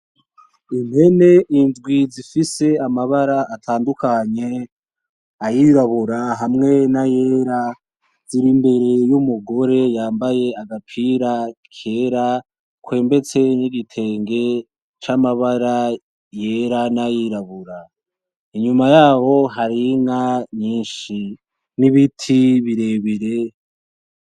Impene indwi zifise amabara atandukanye ayirabura hamwe n'ayera, ziri imbere y'umugore yambaye agapira kera akwembetse n'igitenge yera nay'irabura, inyuma yabo hari inka nyinshi n'ibiti birebire.